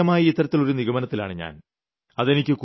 പ്രാഥമികമായി ഇത്തരത്തിലൊരു നിഗമനത്തിലാണ് ഞാൻ